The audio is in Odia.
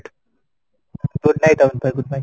good night ଅମିତ ଭାଇ good night